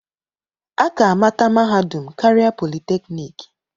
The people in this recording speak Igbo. A ka-amata mahadum karịa politeknik.